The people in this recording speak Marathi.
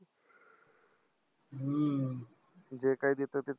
हम्म जे काय देतं ते